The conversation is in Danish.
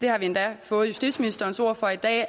det har vi endda fået justitsministerens ord for i dag